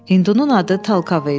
Hindunun adı Talkav idi.